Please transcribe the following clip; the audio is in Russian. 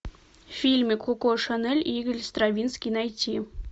фильмик коко шанель и игорь стравинский найти